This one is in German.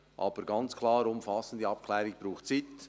Aber ganz klar: Eine umfassende Abklärung braucht Zeit.